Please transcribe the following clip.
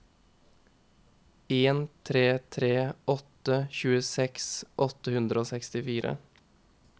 en tre tre åtte tjueseks åtte hundre og sekstifire